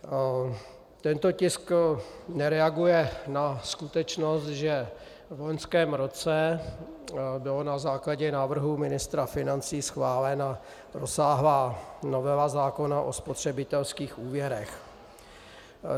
Tento tisk nereaguje na skutečnost, že v loňském roce byla na základě návrhu ministra financí schválena rozsáhlá novela zákona o spotřebitelských úvěrech.